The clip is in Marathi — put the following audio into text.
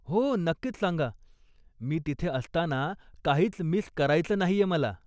हो, नक्कीच सांगा, मी तिथे असताना काहीच मिस करायचं नाहीये मला.